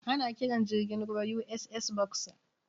Ana kiran jirgin ruwan USS Boxer.